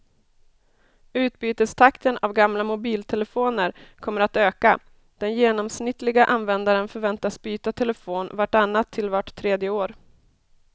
Utbytestakten av gamla mobiltelefoner kommer att öka, den genomsnittliga användaren förväntas byta telefon vart annat till vart tredje år.